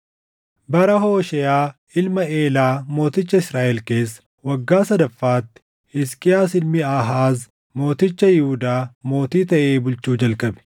Bara Hoosheeʼaa ilma Eelaa mooticha Israaʼel keessa waggaa sadaffaatti Hisqiyaas ilmi Aahaaz mooticha Yihuudaa mootii taʼee bulchuu jalqabe.